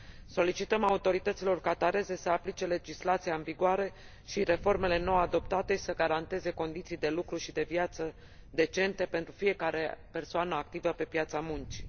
Solicităm autorităților qatariene să aplice legislația în vigoare și reformele nou adoptate și să garanteze condiții de lucru și de viață decente pentru fiecare persoană activă pe piața muncii.